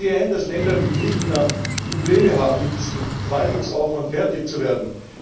Ich sehe ein, dass Länder wie Griechenland Probleme haben, mit diesem Verwaltungsaufwand fertig zu werden.